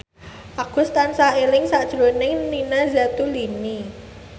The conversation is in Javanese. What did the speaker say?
Agus tansah eling sakjroning Nina Zatulini